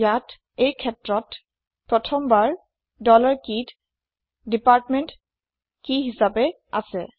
আমাৰ এই কেছত প্ৰথমবাৰ ডলাৰ কেই কেইত ডিপাৰ্টমেণ্ট কি হিছাপে আছে